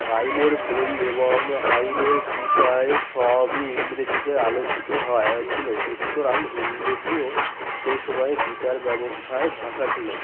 আইনের বই এবং আইনের বিষয় সবই ইংরেজিতে আলোচিত হয় ছিল কি সুতরাং ইংরেজিও সেই সময়ের বিচার ব্যবস্থায় ভাষা ছিল